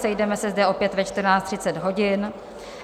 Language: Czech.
Sejdeme se zde opět ve 14.30 hodin.